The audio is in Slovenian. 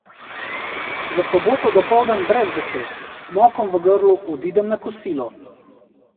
V soboto dopoldan brez besed, s cmokom v grlu odidem na kosilo.